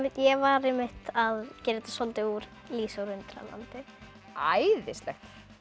ég var einmitt að gera þetta soldið úr Lísu í Undralandi æðislegt